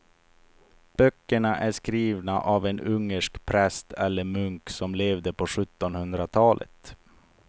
Böckerna är skrivna av en ungersk präst eller munk som levde på sjuttonhundratalet.